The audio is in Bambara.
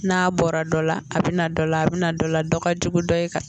N'a bɔra dɔ la, a bɛ na dɔ la, a bɛ bɛna dɔ la ,dɔ ka jugu ni dɔ ye ka